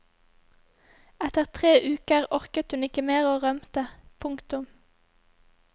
Etter tre uker orket hun ikke mer og rømte. punktum